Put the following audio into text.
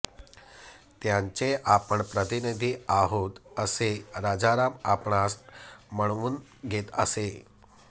त्याचें आपण प्रतिनिधि आहोंत असें राजाराम आपणास ह्मणवून घेत असे